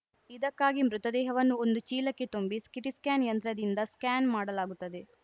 ಇದಕ್ಕಾಗಿ ಮೃತದೇಹವನ್ನು ಒಂದು ಚೀಲಕ್ಕೆ ತುಂಬಿ ಸಿಟಿ ಸ್ಕ್ಯಾನ್‌ ಯಂತ್ರದಿಂದ ಸ್ಕ್ಯಾನ್‌ ಮಾಡಲಾಗುತ್ತದೆ